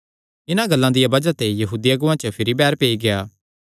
इन्हां गल्लां दिया बज़ाह ते यहूदी अगुआं च भिरी बैर पेई गेआ